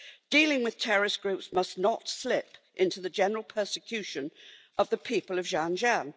Dealing with terrorist groups must not slip into the general persecution of the people of Xinjiang.